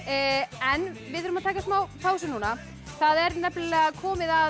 en við þurfum að taka smá pásu núna það er nefnilega komið að